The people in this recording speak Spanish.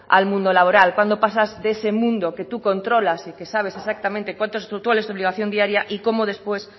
al mundo laboral cuando pasas de ese mundo que tú controlas y que sabes exactamente cuánto cuál es tu obligación diaria y cómo después